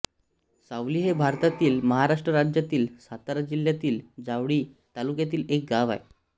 सावली हे भारतातील महाराष्ट्र राज्यातील सातारा जिल्ह्यातील जावळी तालुक्यातील एक गाव आहे